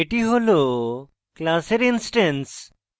এটি হল class instance